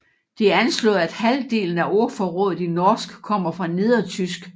Det er anslået at halvdelen af ordforrådet i norsk kommer fra nedertysk